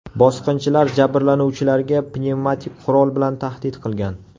Bosqinchilar jabrlanuvchilarga pnevmatik qurol bilan tahdid qilgan.